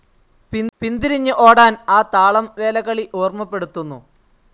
പിന്തിരിഞ്ഞ് ഓടാൻ ആ താളം വേലകളി ഓർമ്മപ്പെടുത്തുന്നു